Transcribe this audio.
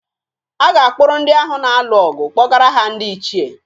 A ga-akpụrụ ndị ahụ na-alụ ọgụ kpọgara ha ndị ichié